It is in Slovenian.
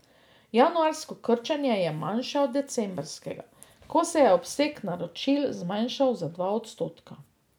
Januarsko krčenje je manjše od decembrskega, ko se je obseg naročil zmanjšal za dva odstotka.